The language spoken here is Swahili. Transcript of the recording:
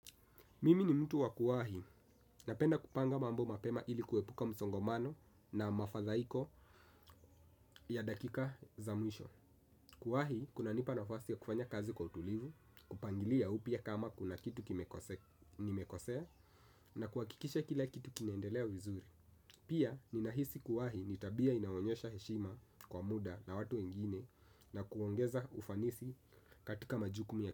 Mimi ni mtu wa kuwahi. Napenda kupanga mambo mapema ili kuepuka msongomano na mafadhaiko ya dakika za mwisho. Kuwahi, kunanipa nafasi ya kufanya kazi kwa utulivu, kupangilia upya kama kuna kitu nimekosea na kuhakikisha kila kitu kinaendelea vizuri. Pia, ninahisi kuwahi ni tabia inayoonyesha heshima kwa muda na watu wengine. Na kuongeza ufanisi katika majukumu ya.